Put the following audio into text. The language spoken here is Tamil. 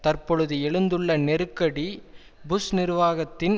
தற்பொழுது எழுந்துள்ள நெருக்கடி புஷ் நிர்வாகத்தின்